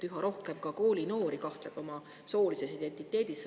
Üha rohkem koolinoori kahtleb oma soolises identiteedis.